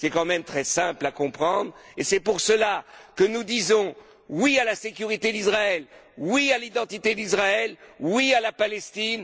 C'est tout de même très simple à comprendre et c'est pourquoi que nous disons oui à la sécurité d'Israël, oui à l'identité d'Israël, oui à la Palestine.